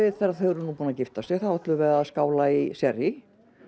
þegar þau eru búin að gifta sig ætlum við að skála í sérrí